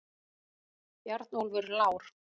Bjarnólfur Lár!